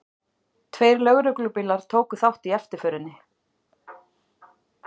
Tveir lögreglubílar tóku þátt í eftirförinni